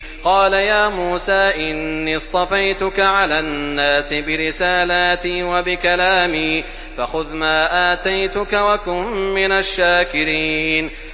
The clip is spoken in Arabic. قَالَ يَا مُوسَىٰ إِنِّي اصْطَفَيْتُكَ عَلَى النَّاسِ بِرِسَالَاتِي وَبِكَلَامِي فَخُذْ مَا آتَيْتُكَ وَكُن مِّنَ الشَّاكِرِينَ